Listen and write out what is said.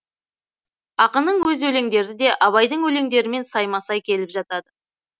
ақынның өз өлеңдері де абайдың өлеңдерімен сайма сай келіп жатады